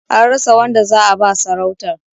An rasa wanda za'a ba sarautar.